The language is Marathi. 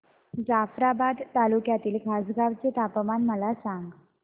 जाफ्राबाद तालुक्यातील खासगांव चे तापमान मला सांग